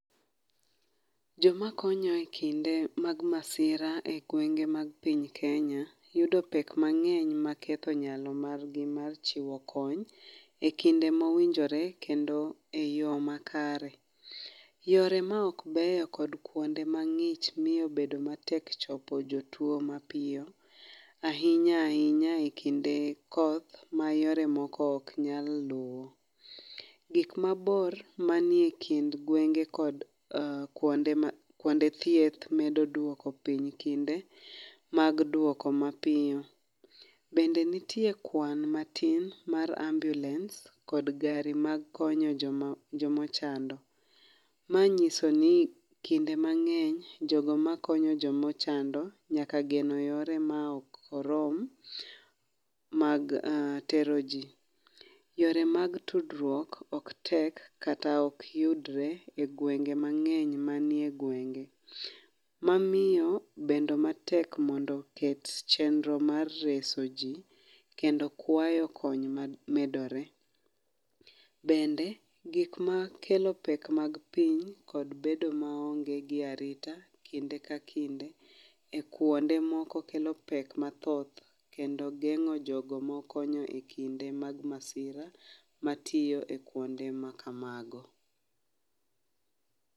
Joma konyo ikinde mag masira e gwenge mag piny Kenya yudo pek mang'eny maketho nyalo margi mar chiwo kony. E kinde mowinjore kendo eyo makare yore maok beyo kod kuonde mang'ich miyo bedo matek chopo jotuo mapiyo ahinya ahinya ekinde koth mayore moko ok nyal luwo. Gik mabor manie kind gwenge kod kuonde thieth medo duoko piny kinde mag duoko mapiyo . Bende nitie kwan matin mar ambulance kod gari mag konyo joma joma chando. Ma nyiso ni kinde mang'eny jogo makonyo joma ochando nyaka geno yore maok orom mag tero ji . Yore mag tudruok ok tek kata ok oyudre e gwenge mang'eny manie gwenge mamiyo bedo matek mondo ket chenro mar reso ji kendo kwayo kony mamedore. Bende gik makelo pek mag piny kod bedo maonge gi arita kinde ka kinde ekuonde moko kelo pek mathoth kendo geng'o jogo makony e kinde mag masira matiyo e kuonde ma kamago.